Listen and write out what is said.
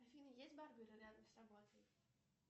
афина есть барберы рядом с работой